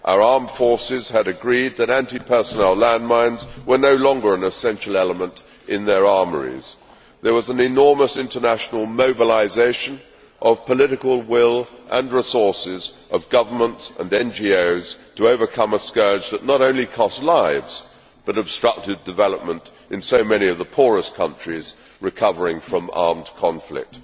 Our armed forces had agreed that anti personnel landmines were no longer an essential element in their armouries. There was an enormous international mobilisation of political will and the resources of governments and NGOs to overcome a scourge that not only costs lives but obstructed development in so many of the poorest countries recovering from armed conflict.